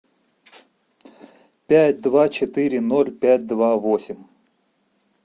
пять два четыре ноль пять два восемь